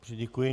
Děkuji.